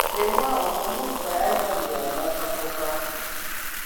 Kemwau ko much koyai ngolyo notok kotok